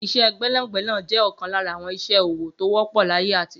Iṣẹ́ gbẹ́nàgbẹ́nà jẹ́ ọ̀kan lára àwọn ìṣe ọwọ́ tó wọ́pọ̀ láyé àtijọ́